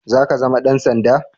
Za ka zama Dan sanda?